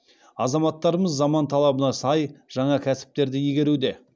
азаматтарымыз заман талабына сай жаңа кәсіптерді игеруде